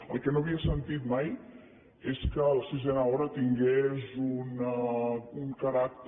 el que no havia sentit mai és que la sisena hora tingués un caràcter